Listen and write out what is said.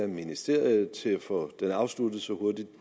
ministeriet til at få sagen afsluttet så hurtigt